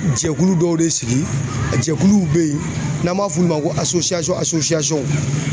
Jɛkulu dɔw de sigi a jɛkuluw bɛ yen n'an b'a f'ulu ma ko